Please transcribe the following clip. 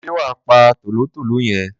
ṣé wà á pa tòlótòló yẹn?